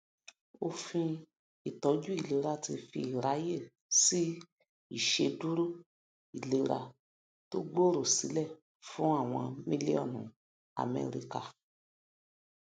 òfin ìtọjú ìfaradà ti fi iraye sí ìṣèdúró ìlera tó gbooro sílẹ fún àwọn mílíọnù amẹrika